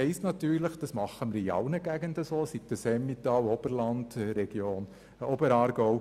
Wir handhaben das in allen Regionen so, sei es im Emmental, im Oberland oder im Oberaargau: